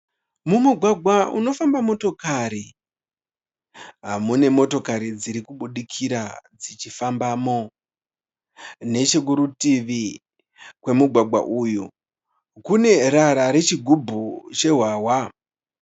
Mumugwagwa unofamba motokari, mune motokari dziri kubudikira dzichifambamo, nechekurutivi kwemugwagwa uyo kune rara rechi ghubhu rehwahwa.